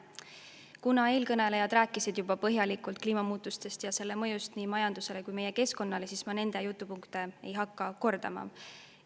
Kuna eelkõnelejad rääkisid juba põhjalikult kliimamuutustest ja nende mõjust nii majandusele kui ka meie keskkonnale, siis ma nende jutupunkte ei hakka kordama.